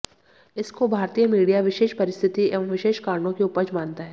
इसको भारतीय मीडिया विशेष परिस्थिति एवं विशेष कारणों की उपज मानता है